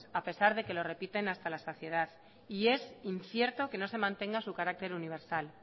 a pesar de que lo repiten hasta la saciedad y es incierto que no se mantenga su carácter universal